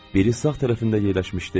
Biri sağ tərəfində yerləşmişdi.